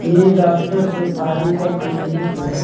ये डॉक्टर शेफाली का क्लीनिक है।